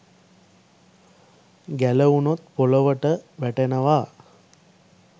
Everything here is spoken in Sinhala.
ගැලවුණොත් පොලොවට වැටෙනවා